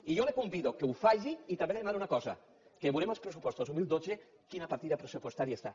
i jo el convido que ho faci i també li demano una cosa que veurem als pressupostos dos mil dotze quina partida pressupostària hi ha